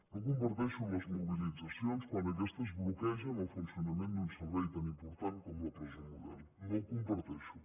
no comparteixo les mobilitzacions quan aquestes bloquegen el funcionament d’un servei tan important com la presó model no ho comparteixo